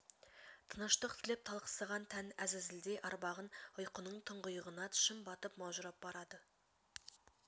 тыныштық тілеп талықсыған тән әзәзілдей арбаған ұйқының тұңғиығына шым батып маужырап барады